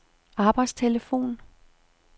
arbejdstelefon